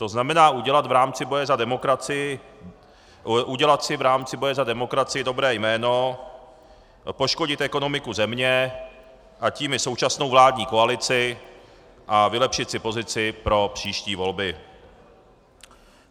To znamená udělat si v rámci boje za demokracii dobré jméno, poškodit ekonomiku země, a tím i současnou vládní koalici a vylepšit si pozici pro příští volby.